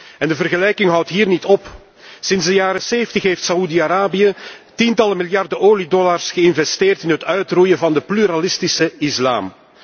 En de vergelijking houdt hier niet op. Sinds de jaren zeventig heeft Saoedi Arabië tientallen miljarden oliedollars geïnvesteerd in het uitroeien van de pluralistische islam.